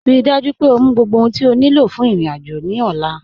Ríí dájú pé ọ mú gbogbo ohun tí o ní lọ fún irin-ájò ní ọ̀là